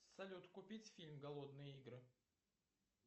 салют купить фильм голодные игры